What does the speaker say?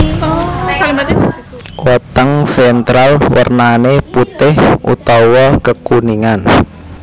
Weteng ventral wernané putih utawa kekuningan